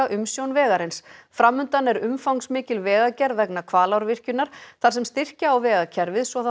umsjón vegarins til fram undan er umfangsmikil vegagerð vegna Hvalárvirkjunar þar sem styrkja á vegakerfið svo það